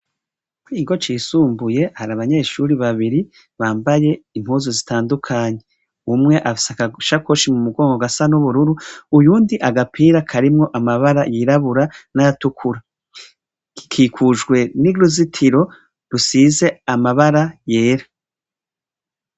Kuri iki kigo cisumbuye hari abanyeshure babiri bambaye impuzu zitandukanye. Umwe afise agasakoshi mu mugongo gasa n'ubururu uyundi agapira karimwo amabara yirabura n'ayatukura. Gikikujwe n'uruzitiro rusize amabara yera.